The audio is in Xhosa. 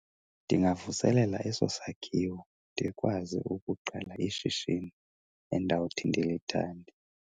Ndingavuselela eso sakhiwo ndikwazi ukuqala ishishini endawuthi ndilithande.